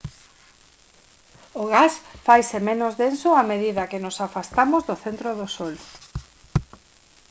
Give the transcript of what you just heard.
o gas faise menos denso a medida que nos afastamos do centro do sol